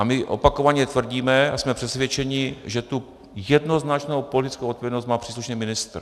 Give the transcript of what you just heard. A my opakovaně tvrdíme a jsme přesvědčeni, že tu jednoznačnou politickou odpovědnost má příslušný ministr.